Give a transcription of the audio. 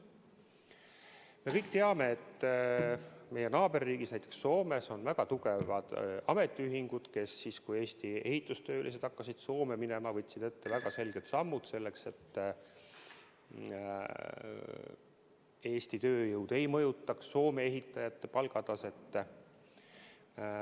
Me kõik teame, et meie naaberriigis Soomes on väga tugevad ametiühingud, kes siis, kui Eesti ehitustöölised hakkasid Soome minema, astusid väga selged sammud selleks, et Eesti tööjõud ei mõjutaks Soome ehitajate palku.